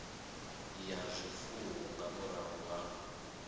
ya zwifuwo nga murahu ha